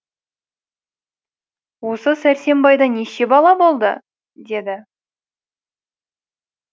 осы сәрсенбайда неше бала болды деді